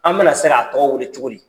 An bɛna se k'a tɔw weele cogodi?